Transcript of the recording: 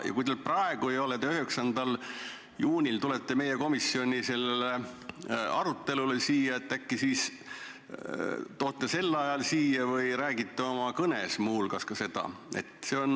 Ja kui teil seda praegu ei ole, siis äkki 9. juunil meie komisjoni arutelule tulles võtate selle kaasa või räägite sellest muu hulgas oma kõnes?